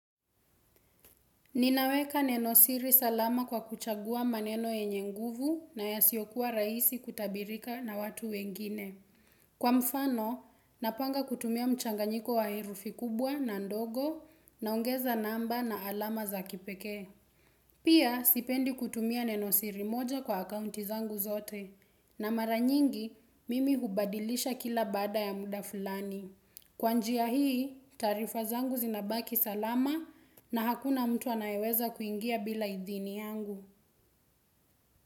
Ninaweka nenosiri salama kwa kuchagua maneno yenye nguvu na yasiyokuwa rahisi kutabirika na watu wengine. Kwa mfano, napanga kutumia mchanganyiko wa herufi kubwa na ndogo naongeza namba na alama za kipekee. Pia, sipendi kutumia nenosiri moja kwa akaunti zangu zote. Na mara nyingi, mimi hubadilisha kila baada ya muda fulani. Kwa njia hii, taarifa zangu zinabaki salama na hakuna mtu anayeweza kuingia bila idhini yangu.